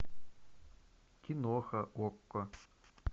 киноха окко